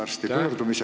Aitäh!